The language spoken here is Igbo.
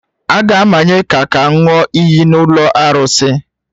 A ga-amanye ya ka ọ ṅụọ iyi n’ụlọ arụsị